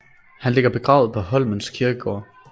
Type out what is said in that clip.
Han ligger begravet på Holmens Kirkegård